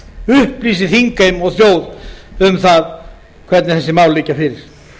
upplýsi þingheim og þjóð um það hvernig þessi mál liggja fyrir